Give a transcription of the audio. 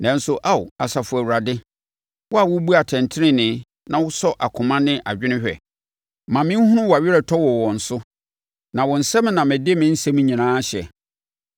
Nanso Ao, Asafo Awurade, wo a wobu atɛntenenee na wosɔ akoma ne adwene hwɛ, ma menhunu wʼaweretɔ wɔ wɔn so, na wo nsam na mede me nsɛm nyinaa hyɛ.